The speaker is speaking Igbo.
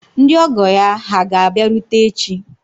Ndị ọgọ ya hà ga-abịarute echi?